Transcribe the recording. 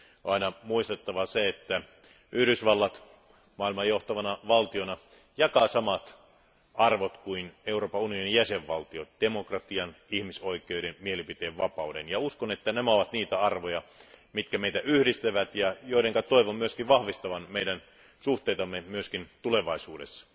On aina muistettava se, että Yhdysvallat maailman johtavana valtiona jakaa samat arvot kuin Euroopan unionin jäsenvaltiot demokratian, ihmisoikeudet, mielipiteenvapauden, ja uskon, että nämä ovat niitä arvoja, jotka meitä yhdistävät ja joiden toivon vahvistavan meidän suhteitamme myös tulevaisuudessa.